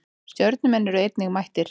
Stjörnumenn eru einnig mættir.